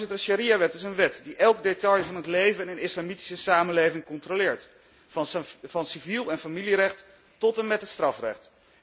De shariawet is een wet die elk detail van het leven in een islamitische samenleving controleert, van civiel en familierecht tot en met het strafrecht.